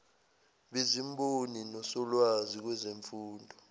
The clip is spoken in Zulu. bezimboni nosolwazi kwezemfundo